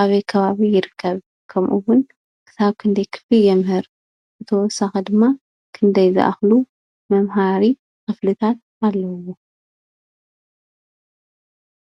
ኣበይ ከባቢ ይርከብ? ከምኡ እውን ክሳብ ክንደይ ክፍሊ የምህር? ብተወሳኪ ድማ ክንደይ ዝኣክሉ መምሃሪ ክፍልታት ኣለዉዎ?